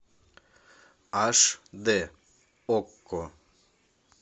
аш дэ окко